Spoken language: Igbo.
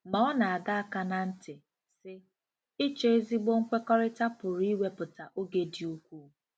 Ma ọ na-adọ aka ná ntị, sị: “Ịchọ ezigbo nkwekọrịta pụrụ iwepụta oge dị ukwuu.”